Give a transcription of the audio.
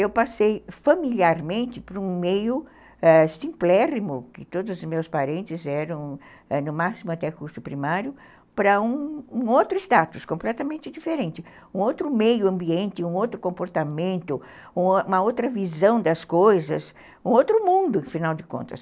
eu passei familiarmente para um meio ãh simplório, que todos os meus parentes eram, no máximo até curso primário, para um outro status, completamente diferente, um outro meio ambiente, um outro comportamento, uma outra visão das coisas, um outro mundo, afinal de contas.